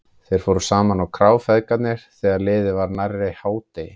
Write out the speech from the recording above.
Þeir fóru saman á krá, feðgarnir, þegar liðið var nærri hádegi.